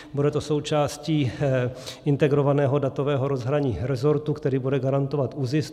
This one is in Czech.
Bude to součástí integrovaného datového rozhraní resortu, který bude garantovat ÚZIS.